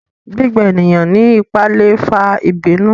gbígbà eniyan ní ipá lè fà ìbínú